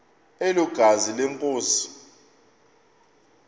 elo gazi lenkosi